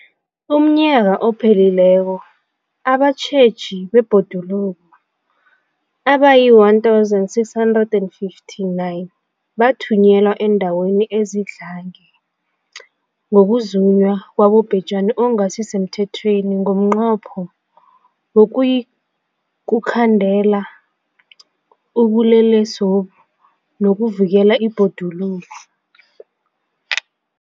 UmNnyaka ophelileko abatjheji bebhoduluko abayi-1 659 bathunyelwa eendaweni ezidlange ngokuzunywa kwabobhejani okungasi semthethweni ngomnqopho wokuyokukhandela ubulelesobu nokuvikela ibhoduluko.